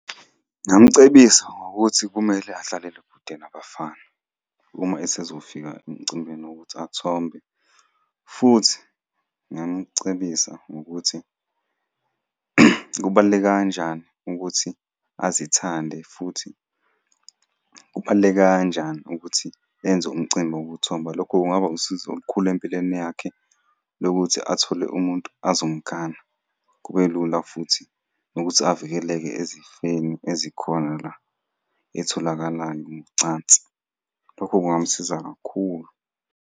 Ngingamcebisa ngokuthi kumele adlalele kude nabafana, uma esezofika emcimbini wokuthi athombe, futhi ngingamucebisa ngokuthi kubaluleke kanjani ukuthi azithande futhi kubaluleke kanjani ukuthi enze umcimbi wokuthomba. Lokho kungaba usizo olukhulu empilweni yakhe lokuthi athole umuntu azomgana. Kube lula futhi nokuthi avikeleke ezifeni ezikhona la ey'tholakala ngocansi. Lokho kungamsiza kakhulu.